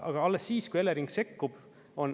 Aga alles siis, kui Elering sekkub.